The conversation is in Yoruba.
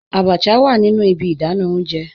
Àbàchà wà nínu ìbí ìdánà ọ̀unjẹ